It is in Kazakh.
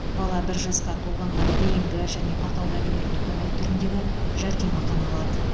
бала бір жасқа толғанға дейінгі және атаулы әлеуметтік көмек түріндегі жәрдемақыны алады